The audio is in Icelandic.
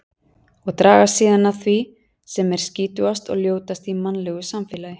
Og dragast síðan að því sem er skítugast og ljótast í mannlegu samfélagi.